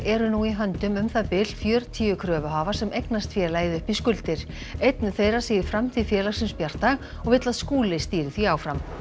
eru nú í höndum um það bil fjörutíu kröfuhafa sem eignast félagið upp í skuldir einn þeirra segir framtíð félagsins bjarta og vill að Skúli stýri því áfram